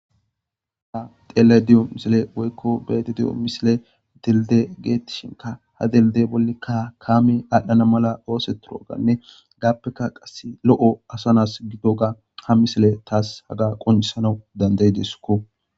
Ha tele di'o misile woykko beeti diyo misile dilde geettishinka ha delde bollekka kaami aadhdhana mala ooseturoganne gaappeka qasse lo'o asanas gido ga ha misile taas haga qunisanau dandayideskko.